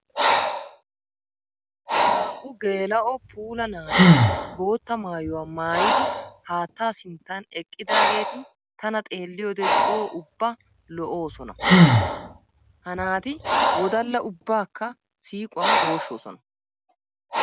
Naa"u geela'o puulla naati bootta maayuwa maayiddi haatta sinttan eqiddagetti tana xeelliyoode coo ubba lo'ossonna. Ha naati wodalla ubbakka siiquwan gooshossonna.